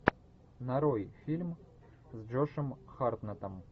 нарой фильм с джошем хартнеттом